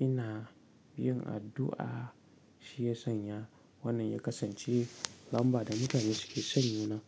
ina yin addu'a, shi ya sanya wannan ya kasance lamba da mutane suke son nuna.